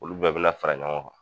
Olu bɛɛ bi na fara ɲɔgɔn kan